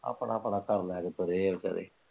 ਆਪਣਾ ਆਪਣਾ ਘਰ ਲੈਕੇ ਤੁਰੇ ਆ ਵਿਚਾਰੇ।